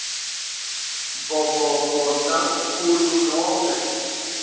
bogogo namkhulu nobe